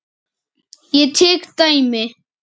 Ég tek dæmi.